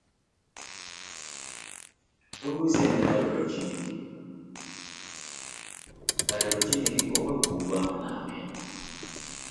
Onyeozi Emeka rịọrọ Chineke ka rịọrọ Chineke ka o wepụ ogwu ahụ n’ahụ ya.